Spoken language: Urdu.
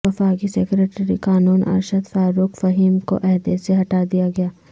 وفاقی سیکرٹری قانون ارشد فاروق فہیم کو عہدے سے ہٹا دیا گیا